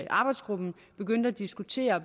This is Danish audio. arbejdsgruppen begyndte at diskutere